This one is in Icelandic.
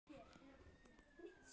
Um það verður varla deilt.